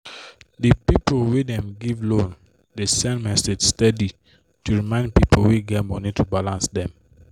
the people wey dey give loan dey send message steady to remind people wey get money to balance dem